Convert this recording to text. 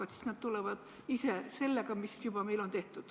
Siis nad tulevad sellega, mis meil on juba tehtud.